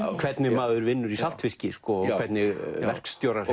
hvernig maður vinnur í saltfiski og hvernig verkstjórar